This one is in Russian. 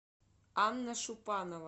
анна шупанова